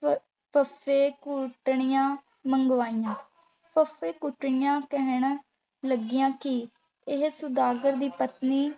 ਫਰ ਫੱਫੇ-ਕੁੱਟਣੀਆਂ ਮੰਗਵਾਈਆਂ । ਫੱਫੇ-ਕੁੱਟਣੀਆਂ ਕਹਿਣ ਲੱਗੀਆਂ ਕਿ ਇਹ ਸੁਦਾਗਰ ਦੀ ਪਤਨੀ